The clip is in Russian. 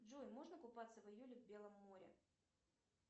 джой можно купаться в июле в белом море